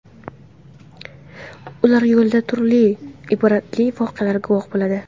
Ular yo‘lda turli ibratli voqealarga guvoh bo‘ladi.